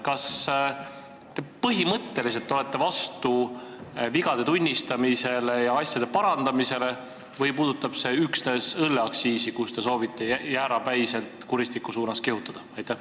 Kas te olete põhimõtteliselt vastu vigade tunnistamisele ja asjade parandamisele või puudutab see üksnes õlleaktsiisi, mille puhul te soovite jäärapäiselt kuristiku suunas kihutada?